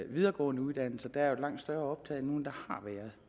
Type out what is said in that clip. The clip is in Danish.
videregående uddannelser er et langt større optag nu end der har været